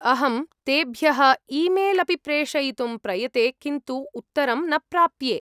अहं तेभ्यः ईमेल् अपि प्रेषयितुं प्रयते किन्तु उत्तरं न प्राप्ये।